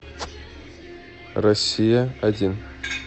россия один